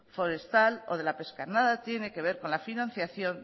forestal o de la pesca nada tiene que ver con la financiación